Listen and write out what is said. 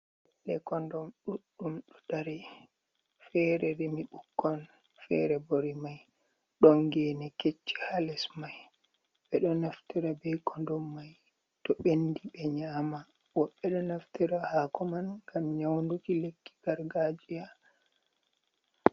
lekondum ɗuɗɗum ɗo dari, fere rimi ɓukkon, fere bo rimai, don gene kecci ha les mai. Ɓeɗo naftira be kondom mai to bɓendi ɓe nyama, woɓɓe ɗo naftira hako man ngam nyaunduki lekki gargajiya.